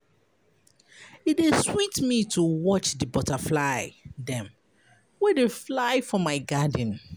E dey sweet me to watch di butterfly dem wey dey fly for my garden.